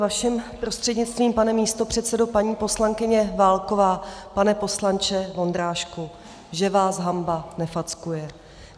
Vaším prostřednictvím, pane místopředsedo - paní poslankyně Válková, pane poslanče Vondráčku, že vás hanba nefackuje.